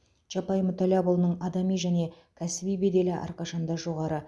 чапай мүтәллапұлының адами және кәсіби беделі әрқашанда жоғары